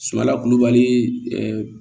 Sumala kulubali